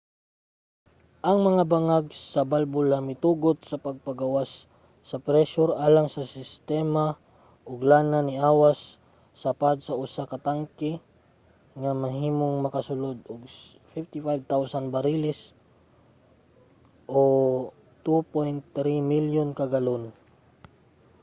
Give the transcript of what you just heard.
ang mga bangag sa balbula mitugot sa pagpagawas sa presyur alang sa sistema ug ang lana niawas sa pad sa usa ka tanke nga mahimong makasulod og 55,000 bariles 2.3 milyon ka galon